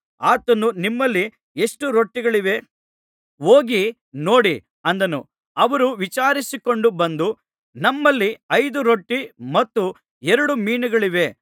ಆತನು ನಿಮ್ಮಲ್ಲಿ ಎಷ್ಟು ರೊಟ್ಟಿಗಳಿವೆ ಹೋಗಿ ನೋಡಿ ಅಂದನು ಅವರು ವಿಚಾರಿಸಿಕೊಂಡು ಬಂದು ನಮ್ಮಲ್ಲಿ ಐದು ರೊಟ್ಟಿ ಮತ್ತು ಎರಡು ಮೀನುಗಳಿವೆ ಅಂದರು